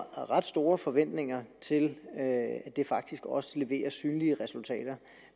ret store forventninger til at det faktisk også leverer synlige resultater